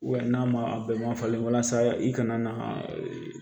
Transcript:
n'a ma a bɛɛ man falen walasa i kana na